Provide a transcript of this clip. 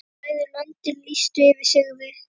Bæði löndin lýstu yfir sigri.